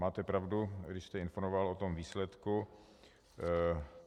Máte pravdu, když jste informoval o tom výsledku.